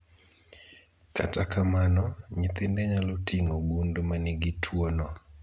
Kata kamano, nyithinde nyalo ting'o gund manigi tuo no